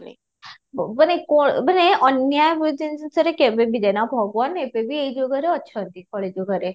ମାନେ କ'ଣ ମାନେ ଅନ୍ୟାୟ ଜିନିଷରେ କବେବି ଭଗବାନ ଏବେବି ଏଇ ଯୁଗରେ ଅଛନ୍ତି କଳି ଯୁଗରେ